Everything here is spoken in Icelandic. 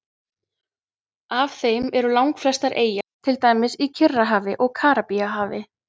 Af þeim eru langflest eyjar, til dæmis í Kyrrahafi og Karíbahafi.